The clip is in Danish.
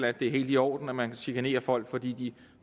at det er helt i orden at man chikanerer folk fordi de